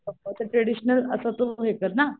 traditional असं तो भेटतात ना